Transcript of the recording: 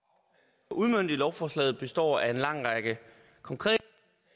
uden for udmøntet i lovforslaget består af en lang række konkrete